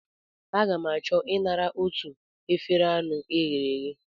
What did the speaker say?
Aga m achọ I nara otu efere anụ e ghere eghe.